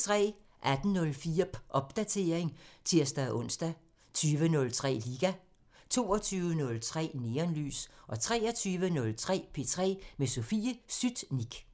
18:04: Popdatering (tir-ons) 20:03: Liga 22:03: Neonlys 23:03: P3 med Sofie Sytnik